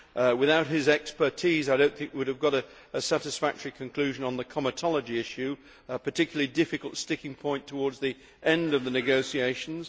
Without his expertise, I do not think we would have got a satisfactory conclusion on the comitology issue a particularly difficult sticking point towards the end of the negotiations.